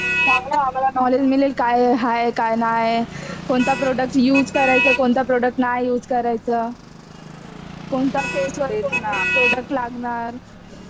चांगल नॉलेज मिळेल काय हाय काय नाय. कोणता प्रोड़क्ट युज करायच , कोणता प्रोड़क्ट नाय युज करायचा. कोणता प्रोड़क्ट कोणता फेसवर लागणार